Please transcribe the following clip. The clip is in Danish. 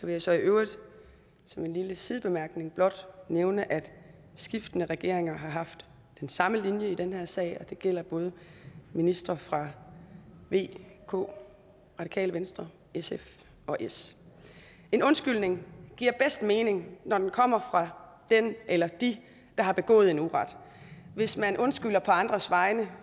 jeg så i øvrigt som en lille sidebemærkning blot nævne at skiftende regeringer har haft den samme linje i den her sag og det gælder både ministre fra v k radikale venstre sf og s en undskyldning giver bedst mening når den kommer fra den eller de der har begået en uret hvis man undskylder på andres vegne